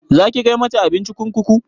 Zaki kai mata abinci kurkuku?